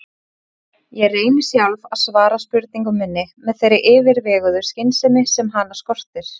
Ég reyni sjálf að svara spurningu minni með þeirri yfirveguðu skynsemi sem hana skortir.